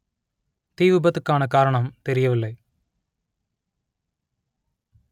தீ விபத்துக்கான காரணம் தெரியவில்லை